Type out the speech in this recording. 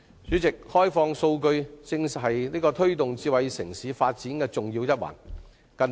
主席，開放數據是推動智慧城市發展的重要一環。